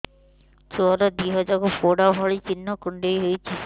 ଛୁଆର ଦିହ ଯାକ ପୋଡା ଭଳି ଚି଼ହ୍ନ କୁଣ୍ଡେଇ ହଉଛି